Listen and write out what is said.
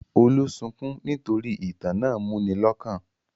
Olú sunkún nítorí ìtàn náà múni lọ́kàn?